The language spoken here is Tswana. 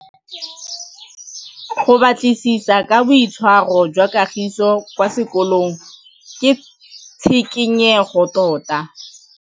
Go batlisisa ka boitshwaro jwa Kagiso kwa sekolong ke tshikinyêgô tota.